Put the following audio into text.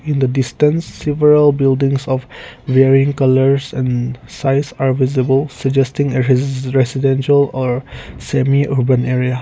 in the distance several buildings of varying colours and size are visible suggesting a res residential or semi urban area.